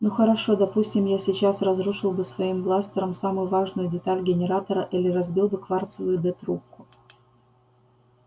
ну хорошо допустим я сейчас разрушил бы своим бластером самую важную деталь генератора или разбил бы кварцевую д трубку